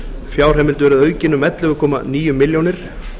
fjárheimild verði aukin um ellefu komma níu milljónir